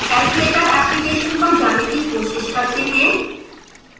calculator application पर जाने की कोशिश करते हैं